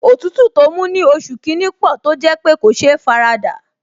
Òtútù tó mú ní oṣù kìíní pò tó jẹ́ pé kò sé faradà